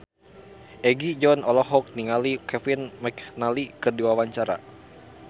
Egi John olohok ningali Kevin McNally keur diwawancara